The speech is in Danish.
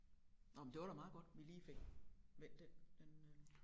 Nph men det var da meget godt vi lige fik vendt den inden